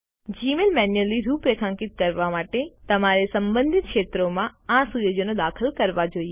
Gmail manually રૂપરેખાંકિત કરવા માટે તમારે સંબંધિત ક્ષેત્રોમાં આ સુયોજનો દાખલ કરવા જોઈએ